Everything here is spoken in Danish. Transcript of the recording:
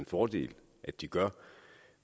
fordel at de gør